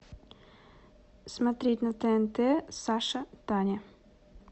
смотреть на тнт саша таня